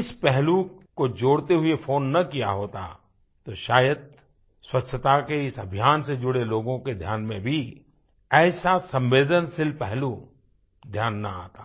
इस पहलू को जोड़ते हुए फ़ोन न किया होता तो शायद स्वच्छता के इस अभियान से जुड़े लोगों के ध्यान में भी ऐसा संवेदनशील पहलू ध्यान न आता